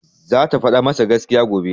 Zata faɗa masa gaskiya, gobe.